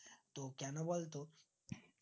তো কেনা বলতো?